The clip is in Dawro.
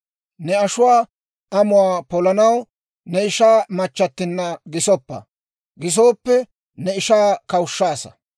Ne ashuwaa amuwaa polanaw ne ishaa machchattinna gisoppa; gisooppe ne ishaa kawushshaasa.